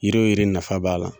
Yiri yiri nafa b'a la.